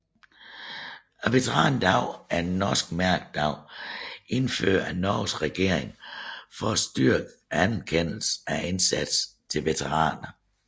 Veterandagen er en norsk mærkedag indført af Norges regering for at styrke anerkendelsen af indsatsen til veteraner